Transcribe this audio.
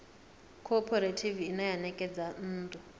khophorethivi ine ya ṋekedza nnḓu